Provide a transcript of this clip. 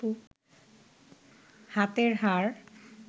হাতের হাড়